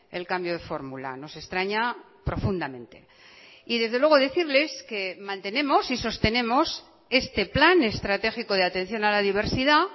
el cambio de fórmula nos extraña profundamente y desde luego decirles que mantenemos y sostenemos este plan estratégico de atención a la diversidad